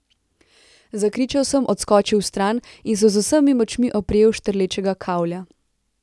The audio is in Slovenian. Zakričal sem, odskočil vstran in se z vsemi močmi oprijel štrlečega kavlja.